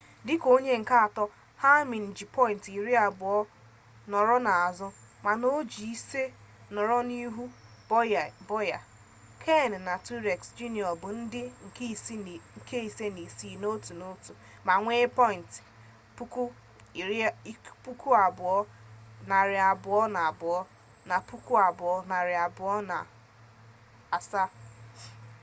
dịka onye nke atọ hamlin ji pọyịnt iri abụọ nọrọ n'azụ mana o ji ise nọrọ n'ihu bowyer kahne na truex jr bụ ndị nke ise na isii n'otu n'otu ma nwee pọyịnt 2,220 na 2,207